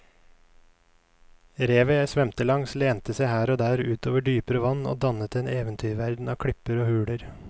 Revet jeg svømte langs lente seg her og der ut over dypere vann og dannet en eventyrverden av klipper og huler.